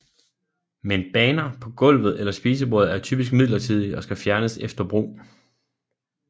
Men baner på gulvet eller spisebordet er typisk midlertidige og skal fjernes efter brug